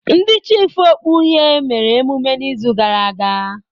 Ndị chiịfụ okpu uhie mere emume n'izu gara aga.